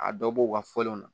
A dɔ bɔ u ka fɔlenw na